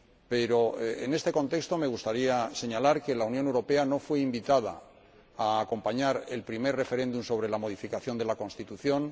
Pero, en este contexto, me gustaría señalar que la Unión Europea no fue invitada a acompañar el primer referéndum sobre la modificación de la Constitución